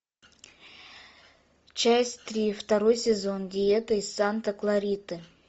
часть три второй сезон диета из санта клариты